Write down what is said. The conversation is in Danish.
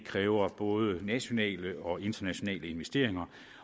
kræver både nationale og internationale investeringer